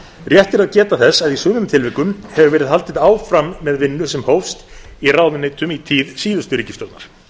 rétt er að geta þess að í sumum tilvikum hefur verið haldið áfram með vinnu sem hófst í ráðuneytum í tíð síðustu ríkisstjórnar